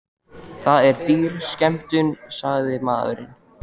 Það er dýr skemmtun, sagði maðurinn.